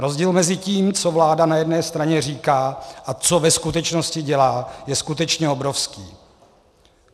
Rozdíl mezi tím, co vláda na jedné straně říká, a co ve skutečnosti dělá, je skutečně obrovský.